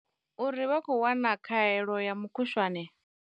Uri vha khou wana khaelo ya mukhushwane.